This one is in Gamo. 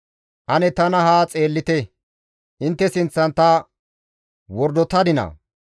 «Ane tana haa xeellite; intte sinththan ta wordotadinaa?